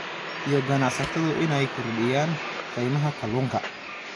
iyo ganacsatadu inay kordhiyaan qiimaha kalluunka.